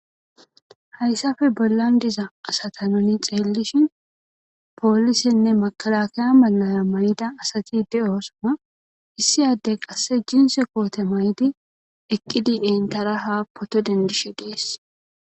Hayssape bollan diza asata nuni xeellishin poolisenne makkalakaya malay mayida asati de7oosona. Issi addey qassi jinsse koote mayidi enttara haa photo denddishe de7ees.